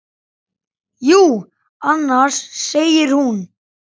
Jú, annars, segir hún.